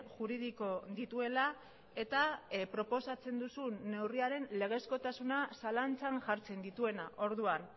juridiko dituela eta proposatzen duzun neurriaren legezkotasuna zalantzan jartzen dituena orduan